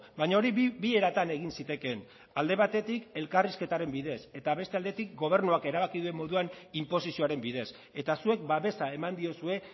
baina hori bi eratan egin zitekeen alde batetik elkarrizketaren bidez eta beste aldetik gobernuak erabaki duen moduan inposizioaren bidez eta zuek babesa eman diozue